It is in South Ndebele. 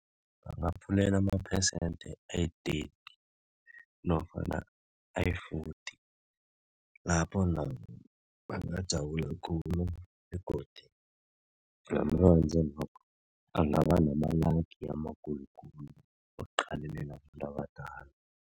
Bangaphulelwa amaphesenthe ayiteti nofana ayifoti lapho nabo bangajabula khulu begodu angaba namalagi wokuqalelela abantu abadala.